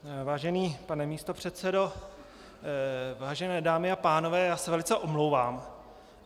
Vážený pane místopředsedo, vážené dámy a pánové, já se velice omlouvám.